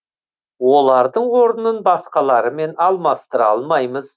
олардың орнын басқаларымен алмастыра алмаймыз